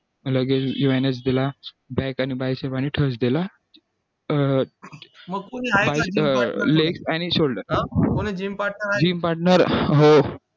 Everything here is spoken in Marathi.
लगेच wednesday ला back आणि biceps आणि thursday ला अं leg आणि shoulder जिम partner हो